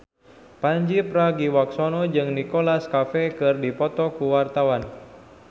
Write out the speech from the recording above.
Pandji Pragiwaksono jeung Nicholas Cafe keur dipoto ku wartawan